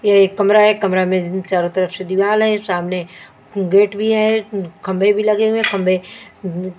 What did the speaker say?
यह एक कमरा है कमरा में चारों तरफ से दीवाल है सामने गेट भी है खंभे भी लगे हुए है खंभे--